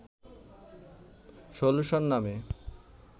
solution নামে